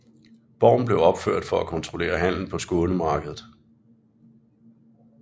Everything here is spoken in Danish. Borgen blev opført for at kontrollere handelen på Skånemarkedet